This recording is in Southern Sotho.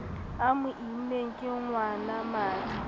a mo immeng ke ngwanamadi